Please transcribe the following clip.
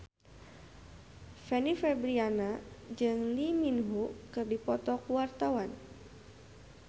Fanny Fabriana jeung Lee Min Ho keur dipoto ku wartawan